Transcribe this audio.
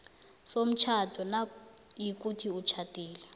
somtjhado nayikuthi utjhadile